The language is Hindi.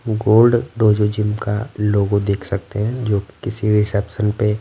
गोल्ड डोजो जिम का लोगो देख सकते हैं जो किसी रिसेप्शन पे--